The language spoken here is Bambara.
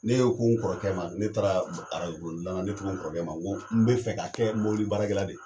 Ne y'o ko n kɔrɔkɛ ma, ne taara la, ne ko n kɔrɔkɛ ma, n ko n bɛ fɛ, ka kɛ mɔbili baara kɛlan de ye.